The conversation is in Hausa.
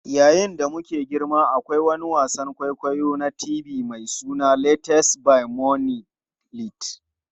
Yayin da muke girma, akwai wani wasan kwaikwayo na TV mai suna Tales by Moonlight.